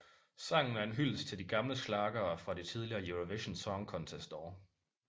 Sangen er en hyldest til de gamle schlagere fra de tidligere Eurovision Song Contest år